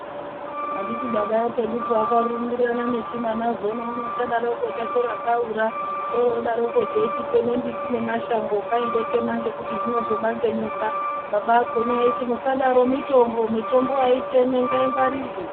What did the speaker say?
Handiti baba epedupo akarumbirirana nechimwana zona uno chadaroko chatora kaura, oro odaroko chochiteme mbiti nemashango kai ndotema ngekuti zvinozobange nyoka. Baba akona aiti musadaro mitombo, mitombo haitemwi ngaingwarirwe.